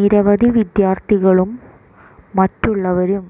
നിരവധി വിദ്യാര്ഥികളും മറ്റുള്ളവരും